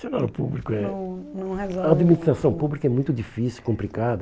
funcionário o público é... não, não resolve eh... A administração pública é muito difícil, complicada.